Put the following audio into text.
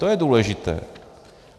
To je důležité.